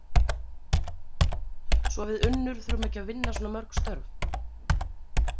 Svo við Unnur þurfum ekki að vinna svona mörg störf